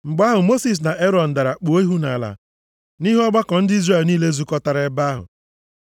Mgbe ahụ, Mosis na Erọn dara kpuo ihu nʼala nʼihu ọgbakọ ndị Izrel niile zukọtara nʼebe ahụ.